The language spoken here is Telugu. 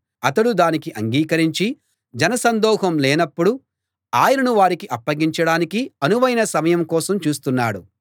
అతడు దానికి అంగీకరించి జనసందోహం లేనప్పుడు ఆయనను వారికి అప్పగించడానికి అనువైన సమయం కోసం చూస్తున్నాడు